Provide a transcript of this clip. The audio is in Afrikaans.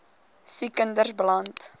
siek kinders beland